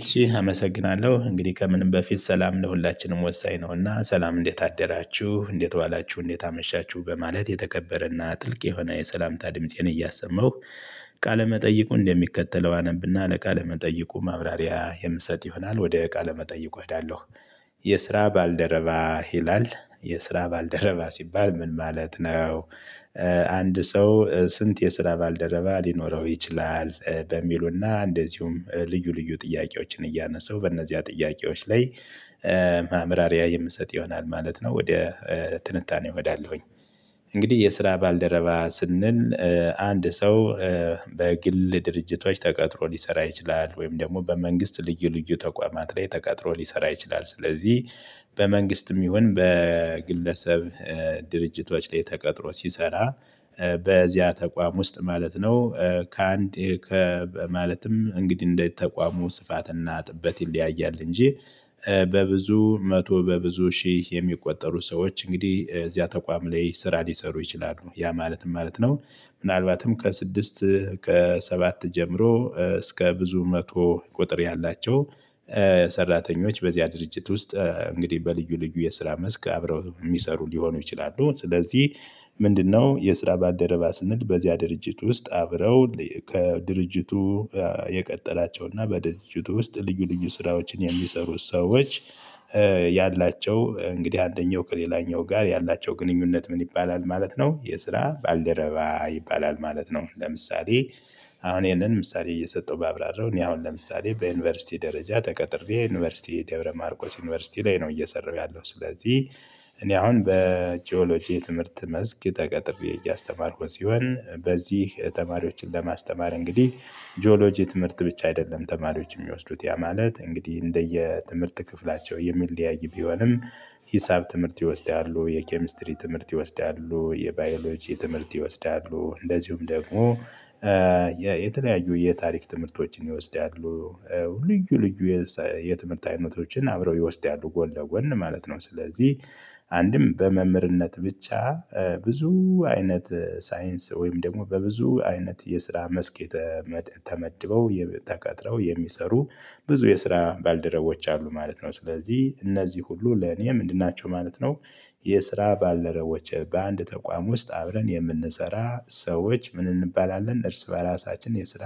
እሺ አመሰግናለሁ እንግዲህ ከምንም በፊት ሰላም ለሁላችንም ወሳኝ ነውና ሰላም እንዴት አደራችሁ እንዴት ዋላችሁ እንዴት አመሻችሁ በማለት የተከበረና ጥልቅ የሆነ የሰላምታ ድምፄን እያሰማሁ ቃለ መጠይቁ እንደሚከተለው አነብና ለቃለ መጠይቁ ማብራሪያ የምሰጥ ይሆናል ወደ ቃለ መጠይቁ እሄዳለሁ። የስራ ባልደረባ ይላል የስራ ባልደረባ ሲባል ምን ማለት ነው? አንድ ሰው ስንት የስራ ባልደረባ ሊኖረው ይችላል? በሚሉና እንደዚሁም ልዩ ልዩ ጥያቄዎችን እያነሳው በእነዚያ ጥያቄዎች ላይ ማብራሪያ የምሰጥ ይሆናል ማለት ነው። ወደ ትንታኔ እሄዳለሁኝ። እንግዲህ የስራ ባልደረባ ስንል። አንድ ሰው በግል ድርጅቶች ተቀጥሮ ሊሰራ ይችላል ወይም ደግሞ በመንግስት ልዩ ልዩ ተቋማት ላይ ተቀጥሮ ሊሰራ ይችላል። ስለዚህ በመንግስትም ይሁን በግለሰብ ድርጅቶች ላይ ተቀጥሮ ሲሰራ በዚያ ተቋም ውስጥ ማለት ነው። ከአንድ ከ ማለትም እንግዲህ እንደ ተቋሙ ስፋት እና ጥበት ይለያያል። እንጂ በብዙ መቶ በብዙ ሺህ የሚቆጠሩ ሰዎች እንግዲህ እዚያ ተቋም ላይ ስራ ሊሰሩ ይችላሉ ያ ማለት ምን ማለት ነው? ምናልባትም ከስድስት ከሰባት ጀምሮ እስከ ብዙ መቶ ቁጥር ያላቸው ሰራተኞች በዚያ ድርጅት ውስጥ እንግዲህ በልዩ ልዩ የስራ መስክ አብረው የሚሰሩ ሊሆኑ ይችላሉ። ስለዚህ ምንድነው የስራ ባደረባ ስንል በዚያ ድርጅት ውስጥ አብረው ከድርጅቱ የቀራላቸውና በድርጅቱ ውስጥ ልዩ ልዩ ስራዎችን የሚሰሩ ሰዎች። ያላቸው እንግዲህ አንደኛው ከሌላኛው ጋር ያላቸው ግንኙነት ምን ይባላል ማለት ነው። የስራ ባልደረባ ይባላል ማለት ነው። ለምሳሌ አሁን ይሄንን ምሳሌ እየሰጠው ባብራራው እኔ አሁን ለምሳሌ በዩኒቨርሲቲ ደረጃ ተቀጥሬ ዩኒቨርሲቲ ደብረ ማርቆስ ዩኒቨርሲቲ ላይ ነው እየሰራሁ ያለው ስለዚህ። እኔ አሁን በጂኦሎጂ የትምህርት መስክ ተቀጥሬ እያስተማርኩኝ ሲሆን በዚህ ተማሪዎችን ለማስተማር እንግዲህ ጂኦሎጂ ትምህርት ብቻ አይደለም ተማሪዎች የሚወስዱት ያ ማለት እንግዲህ እንደየ ትምህርት ክፍላቸው የሚለያይ ቢሆንም። ሂሳብ ትምህርት ይወስዳሉ የኬሚስትሪ ትምህርት ይወስዳሉ የባዮሎጂ ትምህርት ይወስዳሉ እንደዚሁም ደግሞ የተለያዩ የታሪክ ትምህርቶችን ይወስዳሉ። ልዩ ልዩ የትምህርት አይነቶችን አብረው ይወስዳሉ ጎን ለጎን ማለት ነው። ስለዚህ አንድም በመምህርነት ብቻ ብዙ አይነት ሳይንስ ወይም ደግሞ በብዙ አይነት የስራ መስክ ተመድበው ተቀጥረው የሚሰሩ ብዙ የስራ ባልደረቦች አሉ ማለት ነው። ስለዚህ እነዚህ ሁሉ ለኔ ምንድን ናቸው ማለት ነው። የስራ ባልደረቦች በአንድ ተቋም ውስጥ አብረን የምንሰራ ሰዎች ምን እንባላለን እርስ በራሳችን የስራ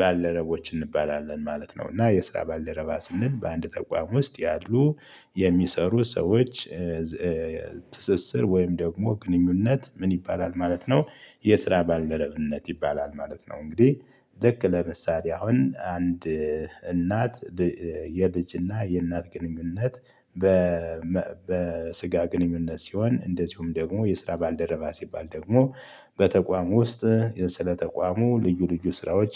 ባልደረቦች እንባላለን ማለት ነው። እና የስራ ባለረባ ስንል በአንድ ተቋም ውስጥ ያሉ የሚሰሩ ሰዎች ትስስር ወይም ደግሞ ግንኙነት ምን ይባላል ማለት ነው? የስራ ባልደረብነት ይባላል ማለት ነው። እንግዲህ ልክ ለምሳሌ አሁን አንድ እናት የልጅና የእናት ግንኙነት። በስጋ ግንኙነት ሲሆን እንደዚሁም ደግሞ የስራ ባልደረባ ሲባል ደግሞ በተቋሙ ውስጥ የ ስለ ተቋሙ ልዩ ልዩ ስራዎች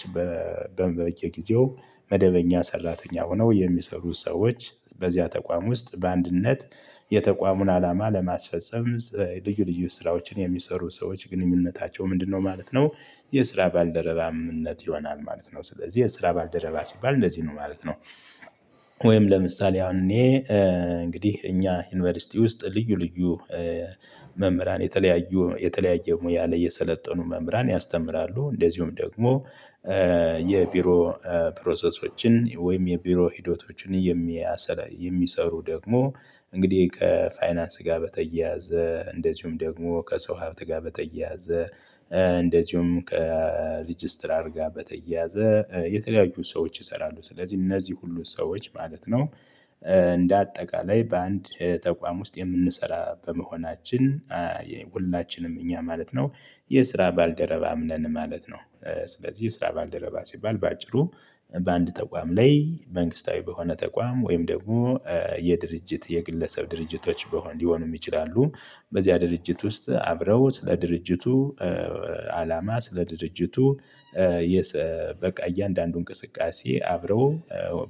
በበቂ ጊዜው መደበኛ ሰራተኛ ሆነው የሚሰሩ ሰዎች በዚያ ተቋም ውስጥ በአንድነት የተቋሙን አላማ ለማስፈፀም ልዩ ልዩ ስራዎችን የሚሰሩ ሰዎች ግንኙነታቸው ምንድነው ማለት ነው? የስራ ባልደረባነት ይሆናል ማለት ነው። ስለዚህ የስራ ባልደረባ ሲባል እንደዚህ ነው ማለት ነው። ወይም ለምሳሌ አሁን እኔ እንግዲህ እኛ ዩኒቨርሲቲ ውስጥ ልዩ ልዩ መምህራን የተለያዩ የተለያየ ሙያ ላይ የሰለጠኑ መምህራን ያስተምራሉ። እንደዚሁም ደግሞ የቢሮ ፕሮሰሶችን ወይም የቢሮ ሂደቶችን የሚሰሩ ደግሞ እንግዲህ ከፋይናንስ ጋር በተያያዘ እንደዚሁም ደግሞ ከሰው ሀብት ጋር በተያያዘ። እንደዚሁም ከሪጅስትራር ጋር በተያያዘ የተለያዩ ሰዎች ይሰራሉ። ስለዚህ እነዚህ ሁሉ ሰዎች ማለት ነው። እንደ አጠቃላይ በአንድ ተቋም ውስጥ የምንሰራ በመሆናችን ሁላችንም እኛ ማለት ነው የስራ ባልደረባም ነን ማለት ነው። ስለዚህ የስራ ባልደረባ ሲባል በአጭሩ በአንድ ተቋም ላይ መንግስታዊ በሆነ ተቋም ወይም ደግሞ የድርጅት የግለሰብ ድርጅቶች ሊሆኑም ይችላሉ። በዚያ ድርጅት ውስጥ አብረው ስለ ድርጅቱ አላማ ስለ ድርጅቱ በቃ እያንዳንዱ እንቅስቃሴ አብረው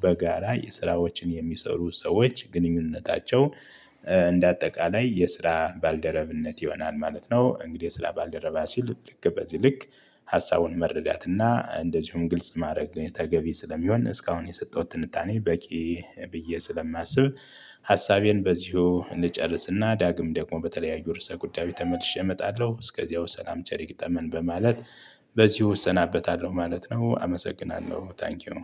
በጋራ የስራዎችን የሚሰሩ ሰዎች ግንኙነታቸው እንደ አጠቃላይ የስራ ባልደረብነት ይሆናል ማለት ነው። እንግዲህ የ ስራ ባልደረባ ሲል ልክ በዚህ ልክ ሀሳቡን መረዳትና እንደዚሁም ግልጽ ማድረግ ተገቢ ስለሚሆን እስካሁን የሰጠሁት ትንታኔ በቂ ብዬ ስለማስብ። ሀሳቤን በዚሁ እንጨርስና ዳግም ደግሞ በተለያዩ ርዕሰ ጉዳይ ተመልሼ እመጣለሁ እስከዚያው ሰላም ቸር ይግጠመን በማለት በዚህ እሰናበታለሁ ማለት ነው። አመሰግናለሁ ታንኪው።